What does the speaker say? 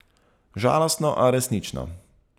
Žalostno, a resnično.